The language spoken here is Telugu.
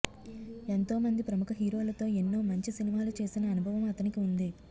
ఎంతో మంది ప్రముఖ హీరోలతో ఎన్నోమంచి సినిమాలు చేసిన అనుభవం అతనికి ఉంది